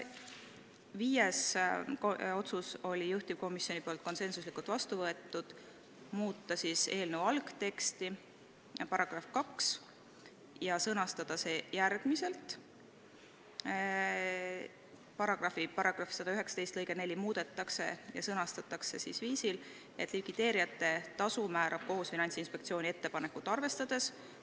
Viies otsus, mille juhtivkomisjon konsensuslikult vastu võttis, oli muuta eelnõu algteksti § 2 ja sõnastada see järgmiselt: "1) paragrahvi 119 lõige 4 muudetakse ja sõnastatakse järgmiselt: " Likvideerijate tasu määrab kohus Finantsinspektsiooni ettepanekut arvestades.